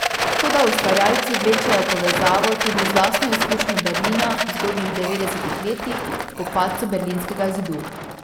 Toda ustvarjalci vlečejo povezavo tudi z lastno izkušnjo Berlina v zgodnjih devetdesetih letih po padcu berlinskega zidu.